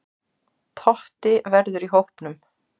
Totti verður í hópnum.